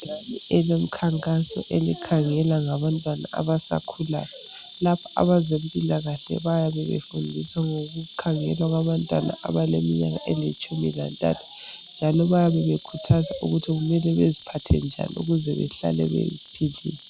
Ibhakane elomkhankaso elikhangela ngabantwana abasakhulayo. Lapha abezempilakahle bayabe befundisa ngokukhangelwa kwabantwana, abaleminyaka elitshumi lantathu, njalo bayabe bekhuthaza ukuthi kumele baziphathe njani ukuze behlale, bephilile.